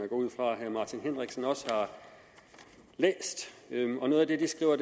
ud fra at herre martin henriksen også har læst noget af det de skriver